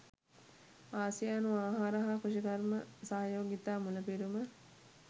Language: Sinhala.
ආසියානු ආහාර හා කෘෂිකර්ම සහයෝගිතා මුලපිරුම